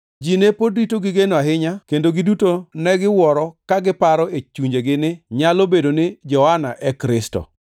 Ji ne pod rito gi geno ahinya kendo giduto ne giwuoro ka giparo e chunjegi ni nyalo bedo ni Johana e Kristo.